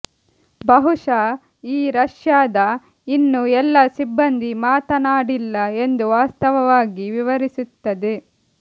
ಬಹುಶಃ ಈ ರಷ್ಯಾದ ಇನ್ನೂ ಎಲ್ಲಾ ಸಿಬ್ಬಂದಿ ಮಾತನಾಡಿಲ್ಲ ಎಂದು ವಾಸ್ತವವಾಗಿ ವಿವರಿಸುತ್ತದೆ